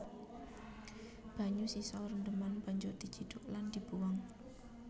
Banyu sisa rendheman banjur dicidhuk lan dibuwang